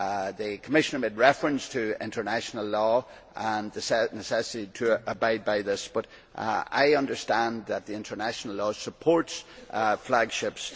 The Commissioner made reference to international law and the necessity to abide by this, but I understand that international law supports flag ships.